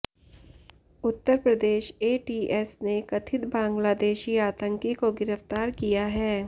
उत्तर Pradesh ATS ने कथित बांग्लादेशी आतंकी को गिरफ्तार किया है